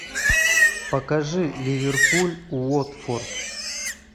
покажи ливерпуль уотфорд